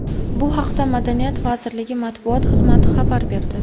Bu haqda Madaniyat vazirligi matbuot xizmati xabar berdi .